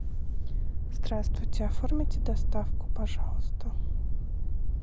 здравствуйте оформите доставку пожалуйста